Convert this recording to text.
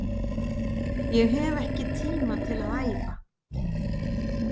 Ég hef ekki tíma til að æfa